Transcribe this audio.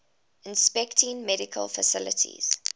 inspecting medical facilities